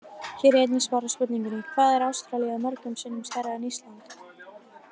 Hér er einnig svarað spurningunni: Hvað er Ástralía mörgum sinnum stærra en Ísland?